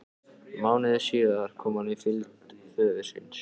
Mánuði síðar kom hann í fylgd föður síns.